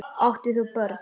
Átt þú börn?